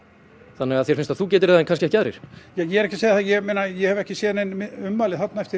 þannig að þér finnst að þú getir það en kannski ekki aðrir ég er ekki að segja það ég meina ég hef ekki séð nein ummæli þarna eftir